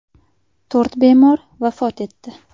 To‘rt bemor vafot etdi.